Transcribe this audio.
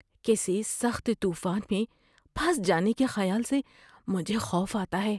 کسی سخت طوفان میں پھنس جانے کے خیال سے مجھے خوف آتا ہے۔